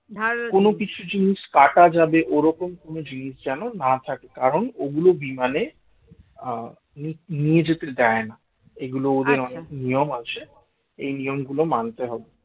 কোন জিনিস কাটা যাবে যে ওরকম কোন জিনিস যেন না থাকে কারণ ওগুলো বিমানে আহ নিয়ে নিয়ে যেতে দেয় না এগুলো ওদের অনেক নিয়ম আছে এই নিয়মগুলো মানতে হবে